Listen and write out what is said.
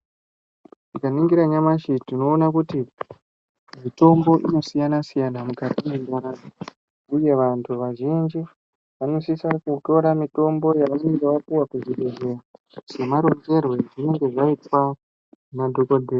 Tikaninginra nyamashi tinoona kuti mitombo inosiyana siyana mukati mwendaramo uye vantu vazhinji vanosisa kutora mitombo yavanenge vapuwa kuzvibhehleya semaronzerwe azvinenge zvaitwa na dhokodheya.